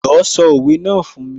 Jọ̀ọ́ sọ òwe náà fún mi?